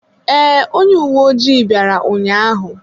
Ee, onye uwe ojii bịara ụnyaahụ.